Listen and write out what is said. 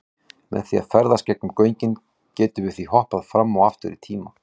Með því að ferðast gegnum göngin gætum við því hoppað fram og aftur í tíma.